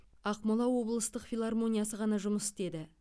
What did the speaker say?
ақмола облыстық филармониясы ғана жұмыс істеді